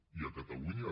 i a catalunya